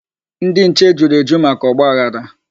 Ndị nche juru eju maka ọgbaghara.